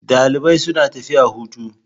Dalibai suna tafiya hutu.